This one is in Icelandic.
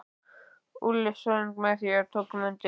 Úlli söng með og við tókum undir.